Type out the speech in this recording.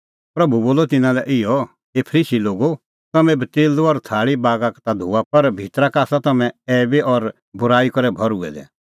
प्रभू बोलअ तिन्नां लै इहअ हे फरीसी लोगो तम्हैं कटोरै और थाल़ू बागा का ता धोआ पर भितरा का आसा तम्हैं ऐईबी और बूराई करै भर्हुऐ दै